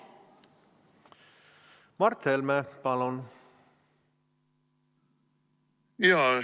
Mart Helme, palun!